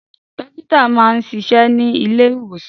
Dókítà máa ń ṣiṣẹ́ ní ilé ìwòsàn.